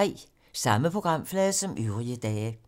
Samme programflade som øvrige dage